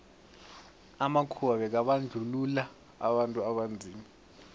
amakhuwa bekabandluua abantu abanzima